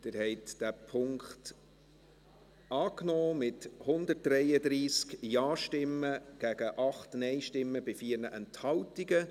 Sie haben diesen Punkt angenommen, mit 133 Ja- gegen 8 Nein-Stimmen bei 4 Enthaltungen.